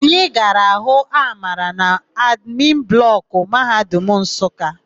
Anyị gara hụ Amara n'admin blọkụ Mahadum Nsụka.